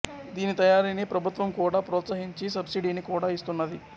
దీని తయారిని ప్రభుత్వం కూడా ప్రొత్స హించి సబ్సిడిని కూడా ఇస్తున్నది